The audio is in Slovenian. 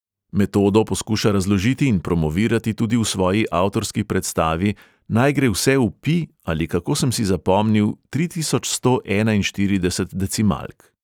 Metodo poskuša razložiti in promovirati tudi v svoji avtorski predstavi "naj gre vse v pi ali kako sem si zapomnil tri tisoč sto enainštirideset decimalk".